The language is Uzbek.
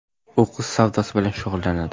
U qiz savdosi bilan shug‘ullanadi.